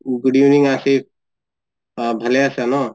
good evening আচিফ অ ভালে আছা ন?